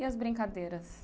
E as brincadeiras?